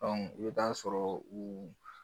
i bɛ taa sɔrɔ u